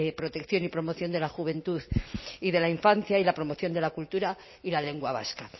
protección y promoción de la juventud y de la infancia y la promoción de la cultura y la lengua vasca